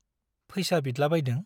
फैसा बिदलाबायदों ?